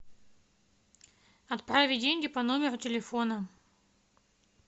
отправить деньги по номеру телефона